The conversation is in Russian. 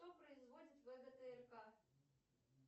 кто производит вгтрк